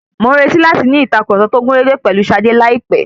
Mò ǹretì láti ní ìtàkurọ̀sọ tó gúnrégé pèlú Ṣadé láìpẹ́.